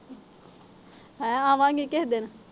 ਹੈਂ। ਆਵਾਂਗੇ ਕਿਸੇ ਦਿਨ।